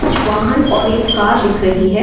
कुछ वाहन और एक कार दिख रही है।